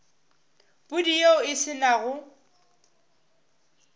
pudi yeo e se nago